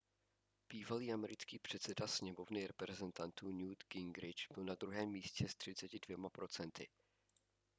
bývalý americký předseda sněmovny reprezentantů newt gingrich byl na druhém místě s 32 procenty